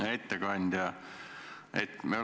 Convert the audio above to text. Hea ettekandja!